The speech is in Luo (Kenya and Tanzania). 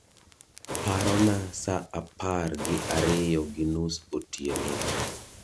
parona saa apar gi ariyo gi nus otieno